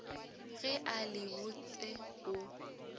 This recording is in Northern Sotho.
ge a le botse o